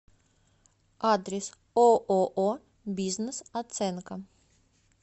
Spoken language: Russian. адрес ооо бизнес оценка